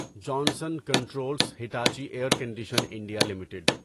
Johnson Controls Hitachi Air Condition India limited